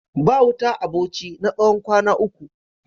Ba wuta a Bauchi na tsawon kwana uku.